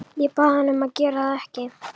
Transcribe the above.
Ég bað hann að gera það ekki.